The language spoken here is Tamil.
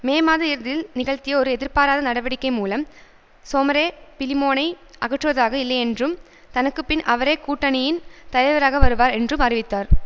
மே மாத இறுதியில் நிகழ்த்திய ஒரு எதிர்பாராத நடவடிக்கை மூலம் சோமரே பிலிமோனை அகற்றுவதாக இல்லையென்றும் தனக்கு பின் அவரே கூட்டணியின் தலைவராக வருவார் என்றும் அறிவித்தார்